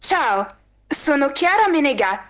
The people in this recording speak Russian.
сынок